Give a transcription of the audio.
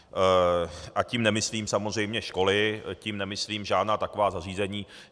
A tím nemyslím samozřejmě školy, tím nemyslím žádná taková zařízení.